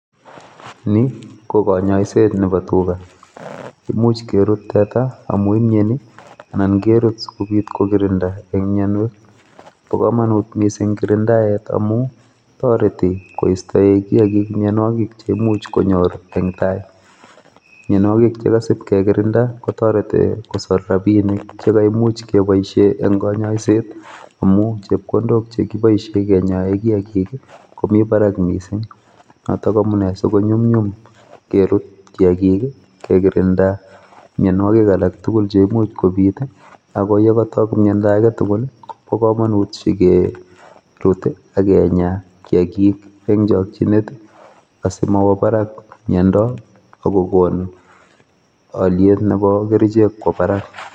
Ni ko konyoiset nebo tuga, imuch kerut teta amu imieni anan kerut si kobit kokirinda eng mionwek. Bo kamanut missing kirindaet amu toreti koistoe kiyakik mionwek che imuch konyor eng tai. Mionwogik che kasip kekirinda kotoreti kosor rabiinik che kaimuch keiboishe eng konyoiset amu chepkondok che kiboishe konyoe kiyagik komi barak missing. Notok amu nee si konyumnyum si kerut kiagik kekirinda mionwokik alak tugul che komuch kobit, ake yekatok miondo age tugul ko bo kamanut si kerut ak kinya kiagik eng chochinet asi mowo barak miondo ak kokon aliet ne bo kerichet kwo barak.